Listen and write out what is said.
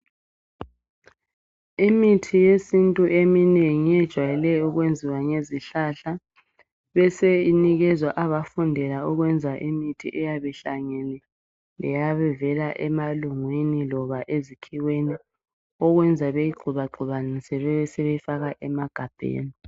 Imithi yesintu eminingi iyejwayele ukwenziwa ngezihlahla, bese inikezwa abafundela ukwenza imithi eyabe ihlangene, leyabi vela ebalungwini loba ezikhiweni okwenza beyigxoba gxobanise besebeyifaka emagabheni.